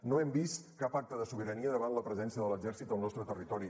no hem vist cap acte de sobirania davant la presència de l’exèrcit al nostre territori